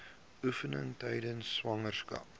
oefeninge tydens swangerskap